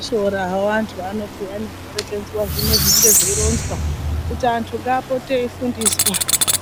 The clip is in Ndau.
Shoora hawo antu ano payani kuperekedzwa zvino zvinenge zveironzwa kuyi antu ngaapote eifundiswa